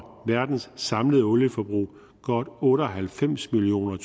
verdens samlede olieforbrug godt otte og halvfems million